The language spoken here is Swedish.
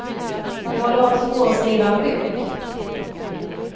Jag håller också på att skriva en bok.